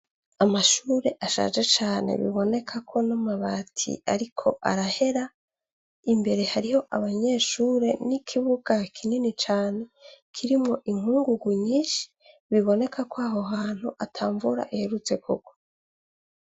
Amashure ashaje cane, biboneka ko n'amabati ariko arahera; imbere hariho abanyeshure n'ikibuga kinini cane, kirimwo inkungugu nyinshi biboneka ko aho hantu ata mvura iherutse kugwa.